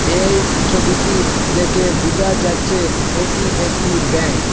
এই ছবিটি দেখে বুঝা যাচ্ছে এটি একটি ব্যাঙ্ক ।